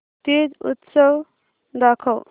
तीज उत्सव दाखव